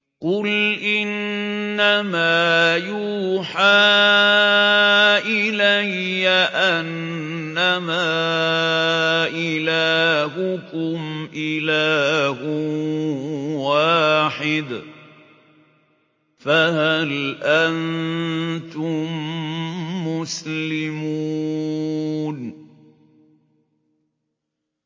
قُلْ إِنَّمَا يُوحَىٰ إِلَيَّ أَنَّمَا إِلَٰهُكُمْ إِلَٰهٌ وَاحِدٌ ۖ فَهَلْ أَنتُم مُّسْلِمُونَ